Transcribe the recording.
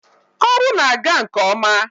ọrụ na-aga nke ọma.